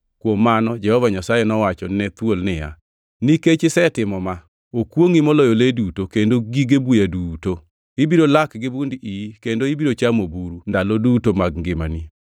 Kuom mano Jehova Nyasaye nowacho ne thuol niya, “Nikech isetimo ma, “Okwongʼi moloyo le duto kendo gige buya duto! Ibiro lak gi bund iyi kendo ibiro chamo buru, ndalo duto mag ngimani.